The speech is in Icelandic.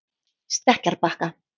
Stekkjarbakka